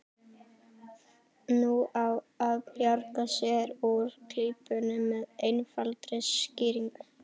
Nú á að bjarga sér úr klípunni með einfaldri skýringu.